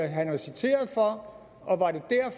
han er citeret for